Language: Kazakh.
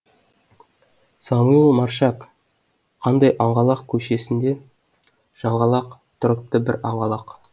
самуил маршак қандай аңғалақ көшесінде жаңғалақ тұрыпты бір аңғалақ